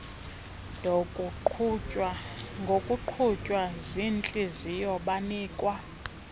ngokuqhutywa ziintliziyo banikwa